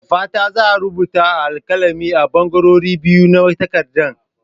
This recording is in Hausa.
Da fatan za a rubuta a alkalami a ɓangarorin biyu na takarda.